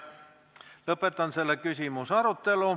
Lõpetan selle küsimuse arutelu.